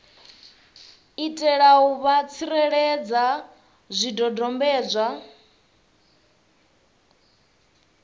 itela u vha tsireledza zwidodombedzwa